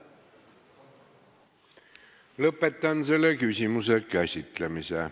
Lõpetan selle küsimuse käsitlemise.